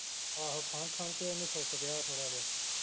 ਆਹੋ ਖੰਘ ਖੰਘ ਕੇ ਉਹਨੂੰ ਸੁਕ ਗਿਆ ਥੋੜਾ ਜਿਹਾ